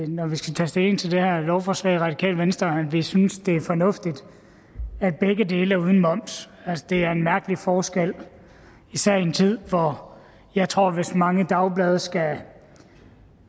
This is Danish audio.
når vi skal tage stilling til det her lovforslag i radikale venstre at vi synes det er fornuftigt at begge dele er uden moms det er en mærkelig forskel især i en tid hvor jeg tror at hvis de mange dagblade skal